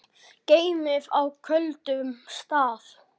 Geymið á köldum stað.